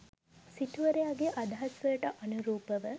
සිටුවරයාගේ අදහස්වලට අනුරූපව